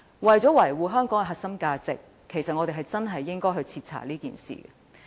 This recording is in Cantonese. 為了維護香港的核心價值，我們確實應該徹查此事。